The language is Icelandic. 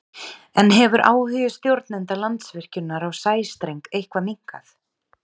En hefur áhugi stjórnenda Landsvirkjunar á sæstreng eitthvað minnkað?